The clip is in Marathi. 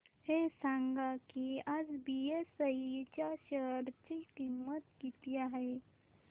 हे सांगा की आज बीएसई च्या शेअर ची किंमत किती आहे